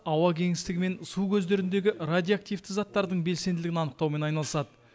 ауа кеңістігі мен су көздеріндегі радиоактивті заттардың белсенділігін анықтаумен айналысады